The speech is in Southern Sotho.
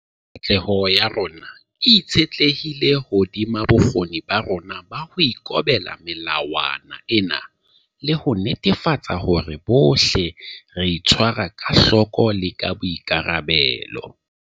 Katleho ya rona e itshetlehile hodima bokgoni ba rona ba ho ikobela melawana ena le ho netefatsa hore bohle re itshwara ka hloko le ka boikarabelo.